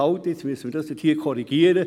Halt, jetzt müssen wird dies korrigieren.